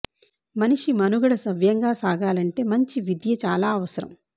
మనిషి మనుగడ సవ్యంగా సాగాలంటే మంచి విద్య చాలా అవ సరం